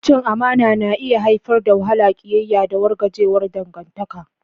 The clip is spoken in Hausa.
Cin amana na iya haifar da wahala, ƙiyayya, da wargajewar dangantaka.